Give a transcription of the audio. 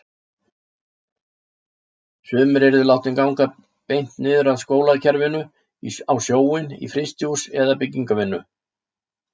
Sumir yrðu látnir ganga beint niður af skólakerfinu á sjóinn, í frystihús eða byggingarvinnu.